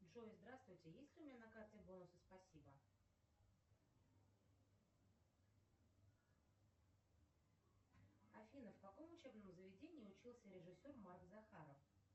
джой здравствуйте есть ли у меня на карте бонусы спасибо афина в каком учебном заведении учился режиссер марк захаров